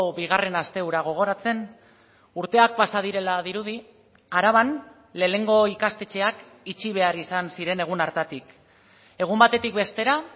bigarren aste hura gogoratzen urteak pasa direla dirudi araban lehenengo ikastetxeak itxi behar izan ziren egun hartatik egun batetik bestera